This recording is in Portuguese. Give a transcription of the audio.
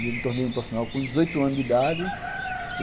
E eu me tornei um profissional com dezoito anos de idade.